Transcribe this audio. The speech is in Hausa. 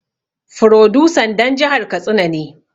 Furodusan dan jihar katsina ne